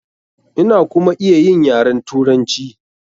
Ina kuma iya yin yaren Turanci.